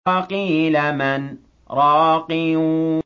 وَقِيلَ مَنْ ۜ رَاقٍ